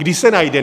Kdy se najde?